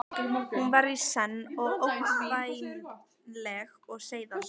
Hún var í senn ógnvænleg og seiðandi.